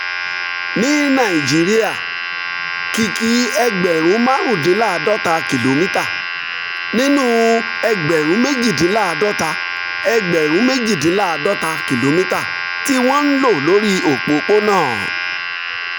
ní nàìjíríà kìkì ẹgbẹ̀rún márùndínláàádọ́ta kìlómítà nínú ẹgbẹ̀rún méjìdínláàádọ́ta ẹgbẹ̀rún méjìdínláàádọ́ta kìlómítà tí wọ́n ń lò lórí òpópónà